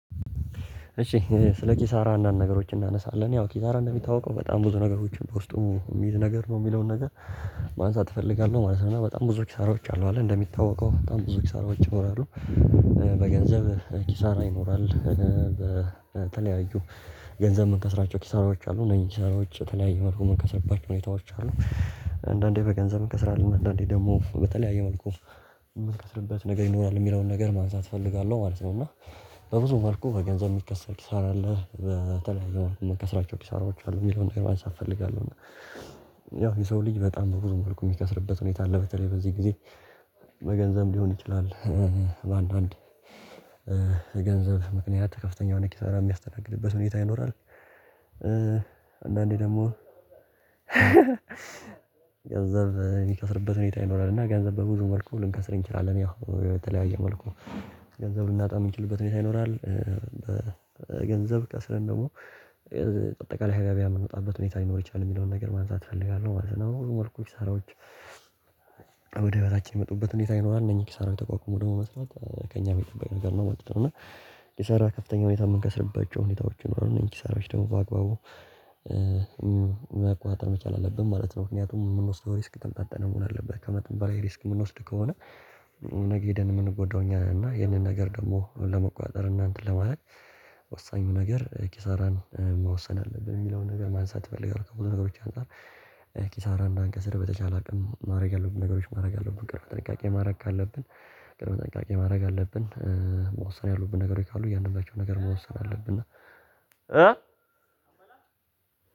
እሺ ስለ ኪሳራ አንዳንድ ነገሮች እናነሳለን ያው ኪሳራ እንደሚታውቀው በጣም ብዙ ነገሮችን በውስጡ የሚይዝ ነገር ነው የሚለውን ነገር ማንሳት እፈልጋለሁ ማለት ነው። እና በጣም ብዙ ኪሳራዎች አለ እንደሚታወቀው በጣም ብዙ ኪሳራዎች ይኖራሉ። በገንዘብ ኪሳራ ይኖራል። በተለያዩ ገንዘብ የምንከስራቸው ኪሳራዎች አሉ እነዚህ ኪሳራዎች ተለያዩ መልኩ የምንከስርባቸው ሁኔታዎች አሉ። አንዳንዴ በገንዘብ እንከስራለን አንዳንዴ ደግሞ በተለያየ መልኩ የምትከስርበት ነገር ይኖራል የሚለውን ነገር ማንሳት እፈልጋለሁ ማለት ነው። እና በብዙ መልኩ ከገንዘብ የሚከሰር ኪሳራ አለ በተለያየ መልኩ ምንከስራቸው ኪሳራዎች አሉ የሚለውን ነገር ማንሳት እፈልጋለሁ። እና ያው የሰው ልጅ በጣም ብዙ መልኩ የሚከስርበት ሁኔታ አለ በተለይ በዚህ ጊዜ። በገንዘብ ሊሆን ይችላል። በአንዳንድ የገንዘብ ምክንያት ከፍተኛ የሆነ ኪሳራ የሚያስተናግድበት ሁኔታ ይኖራል። አንዳንዴ ደግሞ ገንዘብ የሚከስርበት ሁኔታ ይኖራል። እና ገንዘብ በብዙ መልኩ ልንከስር እንችላለን። ያው የተለያየ መልኩ ገንዘብ ልናጣ የምንችልበት ሁኔታ ይኖራል። ገንዘብ ከስረን ደግሞ በቀጣይ ከገቢያ የምንወጣበት ሁኔታ ሊኖር ይችላል የሚለውን ነገር ማንሳት እፈልጋለሁ ማለት ነው። መልኩ ኪራዎች ወደ በታች የመጡበት ሁኔታ ይኖራል። እነኚህ ኪሳራው ተቋቁሞ ደግሞ መስራት ከእኛ ሚጠበቅ ነገር ነው። መጥተን እና ኪሳራ ከፍተኛ ሁኔታ የምንከስርበት ሁኔታዎችን ነው እንጂ ኪሳራዎች ደግሞ በአግባቡ መቋቋጠም መቻል አለብን ማለት ነው። ምክንያቱም የምንወስደው ሪስክ ተምታተነ መሆን አለበት። ከመተንባራዊ ሪስክ የምንወስድ ከሆነ ነገ ሄደን የምንጎዳው እኛ ነን። እና ይሄንን ነገር ደግሞ ለመቆጣጠር እና እንትን ለማድረግ ወሳኙ ነገር ኪሳራን መወሰን አለብን። በሚለው ነገር ማን ሳትፈልግ አልቀረም በተቻለ ነገሮች አንፃር። ኪሳራን እንዳንከስር በተቻለ አቅም ማድረግ ያለብን ነገሮች ማድረግ ያለብን ጠንቃቄ ማድረግ ካለብን ጥንቃቄ ማድረግ አለብን። መወሰን ያሉብን ነገሮች ካሉ እያንዳንዳቸው ነገር መወሰን አለብን። እና